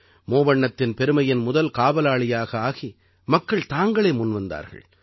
முவண்ணத்தின் பெருமையின் முதல் காவலாளியாக ஆகி மக்கள் தாங்களே முன்வந்தார்கள்